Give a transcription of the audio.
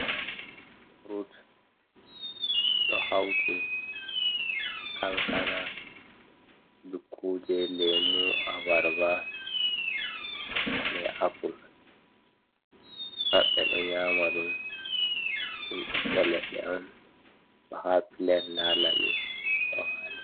Frut ɗo hauti kankana, dukkuje, lemu, abarba, be apple pat ɓe ɗo nyama ɗum ɓiɓɓe leɗɗe on ɗo ha plat nda labi ɗo wali.